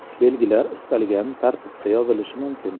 Belgilar istalgan tartibda yozilishi mumkin.